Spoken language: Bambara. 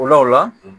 O la o la